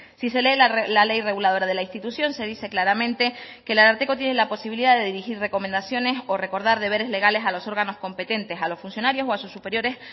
si se lee la ley reguladora de la institución se dice claramente que el ararteko tienen la posibilidad de dirigir recomendaciones o recordar deberes legales a los órganos competentes a los funcionarios o a sus superiores